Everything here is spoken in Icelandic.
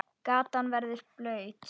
Gatan verður blaut.